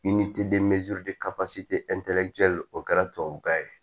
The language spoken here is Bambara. o kɛra tubabukan ye